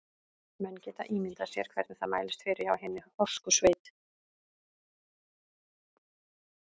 Menn geta ímyndað sér hvernig það mælist fyrir hjá hinni horsku sveit.